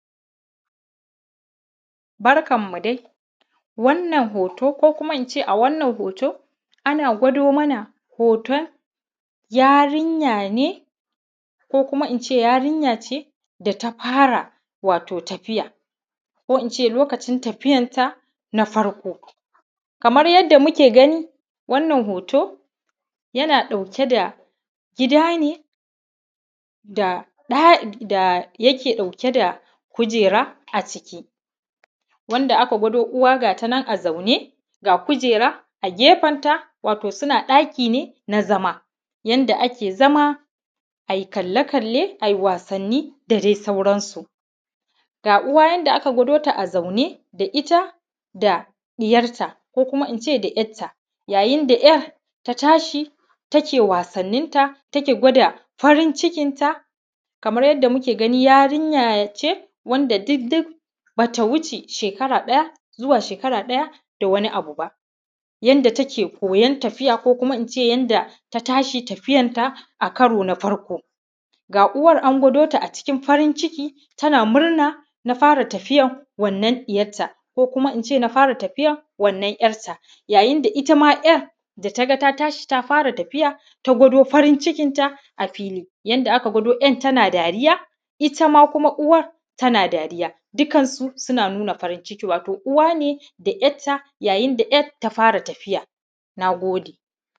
Barkan mu dai wannan hoto ko kuma ince hoto ana gwada mana hoton yarinya ne ko kuma ince yarinya ce da ta fara watau tafiya ko ince lokacin tafiyan ta na farko kamar yadda muke gani wannan hoto yana ɗauke da gida ne da dai yake ɗauke da kujera a ciki wanda aka gwada uwa gata nan a zaune ga kujera a gefen ta watau suna ɗaki ne na zama yanda ake zama ayi kalle kalle ayi wasanni da dai sauransu ga uwa yanda aka gwada ta a zaune da ita da ɗiyarta ko kuma ince da `yarta yayin da `yar ta tashi take wasannin ta take gwada farin cikin ta kamar yanda muke gani yarinya ce wanda duk duk bata wuce shekara ɗaya zuwa shekara ɗaya da wani abu ba yanda take koyan tafiya ko kuma ince yanda tashi tafiyan ta a karo na farko ga uwan an gwado ta a cikin farin ciki tana murna na fara tafiyan wannan ɗiyarta ko kuma ince na fara tafiyar wannan `yan ta yayin da `yan da ta ga tashi ta fara tafiya ta gwado farin cikin ta a fili yanda aka gwado `yan tana dariya itama kuma uwar tana dariya dukansu suna nuna farin cikin su watau uwa ne da `yar ta yayin da `yar ta fara tafiya na gode.